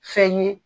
Fɛn ye